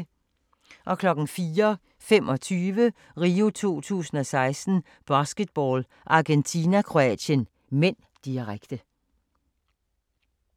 04:25: RIO 2016: Basketball - Argentina-Kroatien (m), direkte